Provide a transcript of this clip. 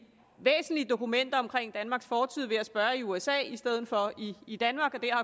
væsentlige dokumenter omkring danmarks fortid ved at spørge i usa i stedet for i i danmark og der